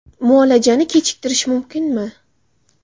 MUOLAJANI K E CHIKTIRISH MUMKINMI?